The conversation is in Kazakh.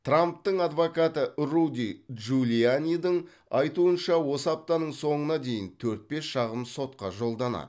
трамптың адвокаты руди джулианидің айтуынша осы аптаның соңына дейін төрт бес шағым сотқа жолданады